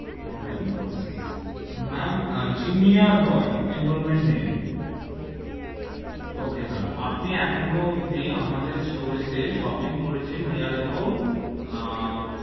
Four nine four six ma'am Jinia Roy enrollment name, okay ma'am আপনি এখনো অব্দি আমাদের store এ তে shopping করেছেন near about,